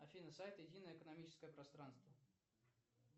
афина сайт единое экономическое пространство